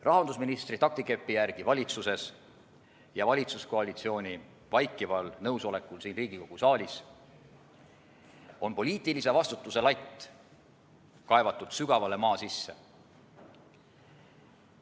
Rahandusministri taktikepi järgi valitsuses ja valitsuskoalitsiooni vaikival nõusolekul siin Riigikogu saalis on poliitilise vastutuse latt kaevatud sügavale maa sisse.